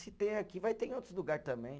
Se tem aqui, vai ter em outros lugar também.